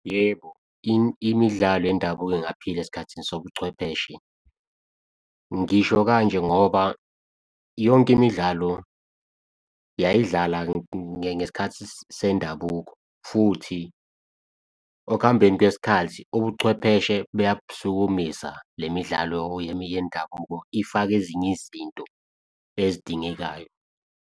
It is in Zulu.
Yebo, imidlalo yendabuko ingaphila esikhathini sobuchwepheshe. Ngisho kanje ngoba, yonke imidlalo yayidlala ngesikhathi sendabuko, futhi okuhambeni kwesikhathi ubuchwepheshe buyakusukumisa le midlalo yendabuko, ifake ezinye izinto ezidingekayo.